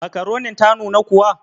Makaronin ta nuna kuwa?